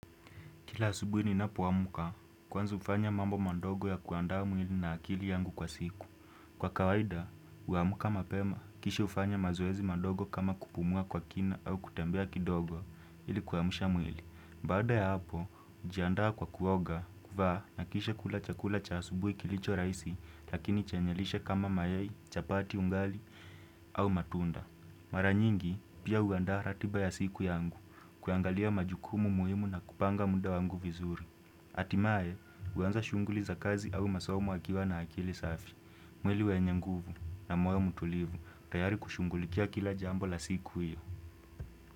Kila asubuhi ninapoamka, kwanza hufanya mambo mandogo ya kuandaa mwili na akili yangu kwa siku. Kwa kawaida, huamka mapema, kisha hufanya mazoezi mandogo kama kupumua kwa kina au kutembea kidogo ilikuwamsha mwili. Baada ya hapo, hujiandawa kwa kuoga kuvaa na kisha kula chakula cha asubuhi kilicho rahisi lakini chenye lishe kama mayai, chapati ungali au matunda. Mara nyingi pia huandaa ratiba ya siku yangu kuangalia majukumu muhimu na kupanga muda wangu vizuri hatimaye huanza shughuli za kazi au masomo akiwa na akili safi mwili wenye nguvu na moyo mtulivu tayari kushunghulikia kila jambo la siku iyo.